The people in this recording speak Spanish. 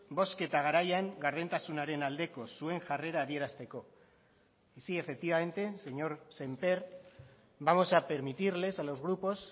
bozketa garaian gardentasunaren aldeko zuen jarrera adierazteko y sí efectivamente señor sémper vamos a permitirles a los grupos